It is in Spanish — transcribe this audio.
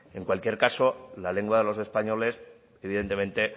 en cualquier caso la lengua de los españoles evidentemente